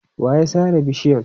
Wa ya sare bishiyan?